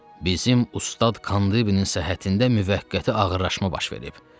Bizim ustad Kandibinin səhhətində müvəqqəti ağırlaşma baş verib.